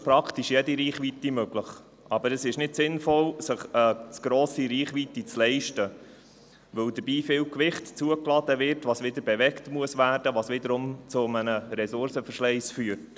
Ich äussere mich jetzt nicht zur Geschichte der Elektromobilität, sie wurde in der Begründung bereits ausführlich dargelegt.